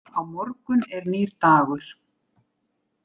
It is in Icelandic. Á morgun er nýr dagur.